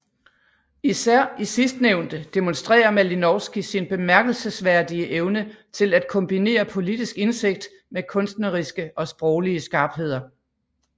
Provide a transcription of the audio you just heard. Især i sidstnævnte demonstrerer Malinowski sin bemærkelsesværdige evne til at kombinere politisk indsigt med kunstneriske og sproglige skarpheder